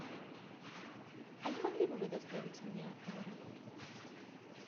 а не могли бы вы доставить меня в аэропорт